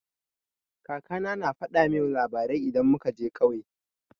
Kaka na na faɗa min labarai idan muka je ƙauye.